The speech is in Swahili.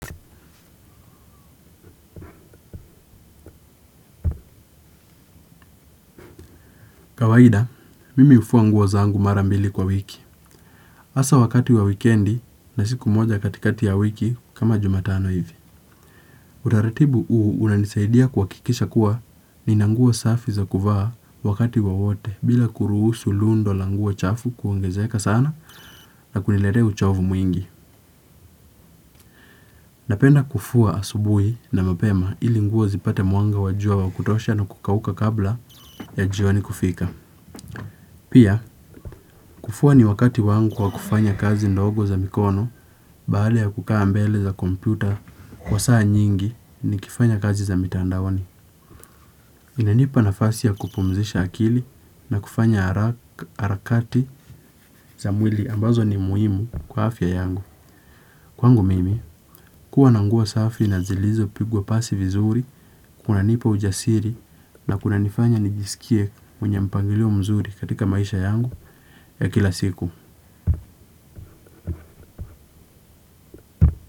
Kawaida, mimi hufua nguo zangu mara mbili kwa wiki. Hasa wakati wa wikendi na siku moja katikati ya wiki kama Jumatano hivi. Utaratibu huu unanisaidia kuhakikisha kuwa nina nguo safi za kuvaa wakati wowote bila kuruhusu lundo la nguo chafu kuongezeka sana na kuniletea uchovu mwingi. Napenda kufua asubuhi na mapema ili nguo zipate mwanga wa jua wa kutosha na kukauka kabla ya jioni kufika. Pia, kufua ni wakati wangu wa kufanya kazi ndogo za mikono, baada ya kukaa mbele za kompyuta kwa saa nyingi nikifanya kazi za mitandaoni. Inanipa na fasi ya kupumzisha akili na kufanya harakati za mwili ambazo ni muhimu kwa afya yangu. Kwangu mimi, kuwa na nguo safi na zilizopigwa pasi vizuri kunanipa ujasiri na kunanifanya nijisikie mwenye mpangilio mzuri katika maisha yangu ya kila siku.